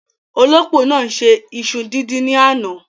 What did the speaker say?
Olópò náà ṣe iṣu díndín ní àná.